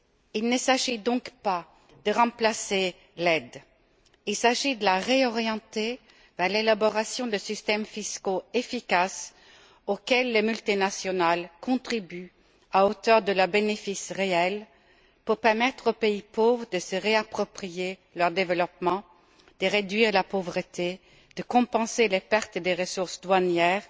Il ne s'agit donc pas de remplacer l'aide, il s'agit de la réorienter vers l'élaboration de systèmes fiscaux efficaces auxquels les multinationales contribuent à hauteur de leurs bénéfices réels pour permettre aux pays pauvres de se réapproprier leur développement, de réduire la pauvreté, de compenser les pertes des ressources douanières